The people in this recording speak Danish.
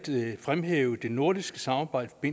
fremhæve det nordiske samarbejde i